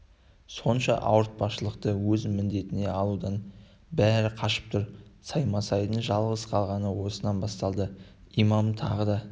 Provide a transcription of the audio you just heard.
сонша ауыртпалықты өз міндетіне алудан бәрі қашып тұр саймасайдың жалғыз қалғаны осыдан басталды имам тағы да